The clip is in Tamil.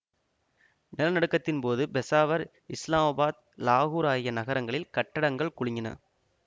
நிலநடுக்கத்தின் போது பெஷாவர் இஸ்லாமாபாத் லாகூர் ஆகிய நகரங்களில் கட்டடங்கள் குலுங்கின